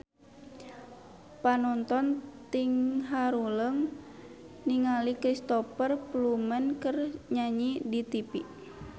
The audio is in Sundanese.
Panonton ting haruleng ningali Cristhoper Plumer keur nyanyi di tipi